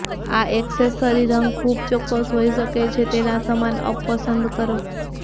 આ એક્સેસરી રંગ ખૂબ ચોક્કસ હોઈ શકે છે તેના સમાન અપ પસંદ કરો